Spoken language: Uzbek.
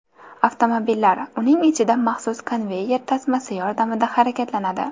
Avtomobillar uning ichida maxsus konveyer tasmasi yordamida harakatlanadi.